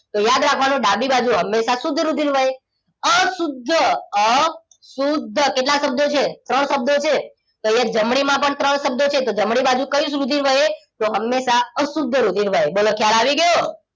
તો યાદ રાખવાનું ડાબી બાજુ હંમેશા શુદ્ધ રુધિર વહે અશુદ્ધ અશુદ્ધ કેટલા શબ્દો છે ત્રણ શબ્દો છે તો અહીંયા જમણી માં પણ ત્રણ શબ્દો છે તો જમણી બાજુ કયું રુધિર વહે તો હંમેશા અશુદ્ધ રુધિર વહે બોલો ખ્યાલ આવી ગયો